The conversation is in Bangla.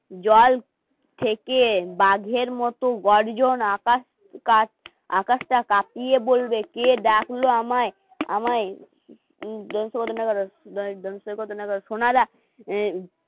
জল থেকে বাঘের মতো গর্জন, আকাশ কাঠ আকাশটা কাঁপিয়ে বলবে কে ডাকলো আমায়? আমায় সোনা দা